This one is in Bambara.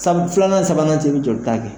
Filanan ni sabanan ni ɲɔgɔn cɛ i bɛ joli ta kɛ.